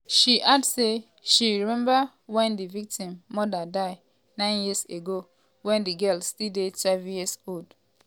she add say she remember wen di victim mother die nine years ago wen di girl still dey twelve years old.